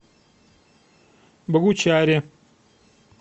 богучаре